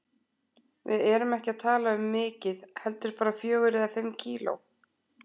Við erum ekki að tala um mikið heldur, bara fjögur eða fimm kíló.